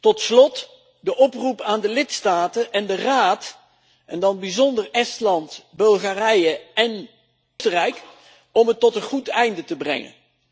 Tot slot de oproep aan de lidstaten en de Raad, en dan in het bijzonder Estland, Bulgarije en Oostenrijk, om het tot een goed einde te brengen.